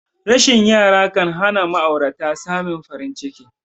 Rashin yara kanhana ma'aurata samin farin ciki